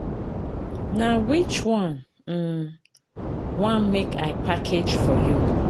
Na which one you um wan make I package for you?